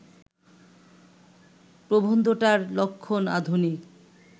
প্রবন্ধটার লক্ষণ আধুনিক